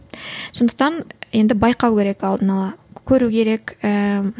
сондықтан енді байқау керек алдын ала көру керек ііі